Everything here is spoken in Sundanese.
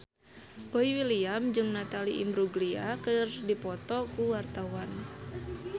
Boy William jeung Natalie Imbruglia keur dipoto ku wartawan